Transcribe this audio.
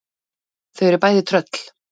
Þau eru bæði tröll.